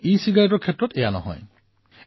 কিন্তু ইচিগাৰেটৰ ক্ষেত্ৰত এনে নহয়